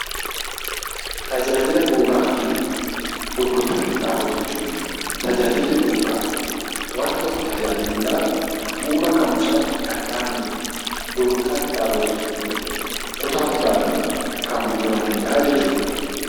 Tajaajila bu'uuraa fi gurgurtaa qinxaaboo jechuun tajaajilli bu'uuraa wanta tokko tajaajiluudhaaf bu'uura ka'umsaa kan ta'anidha. Gurgurtaa qinxaaboo jechuun immoo kutaa kutaadhaan kan gurguramanidha jechuudha.